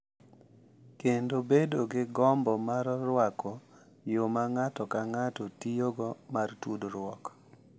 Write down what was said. Kendo bedo gi gombo mar rwako yo ma ng’ato ka ng’ato tiyogo mar tudruok.